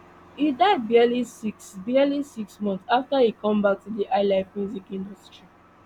e die barely six barely six months afta e come back to di highlife music industry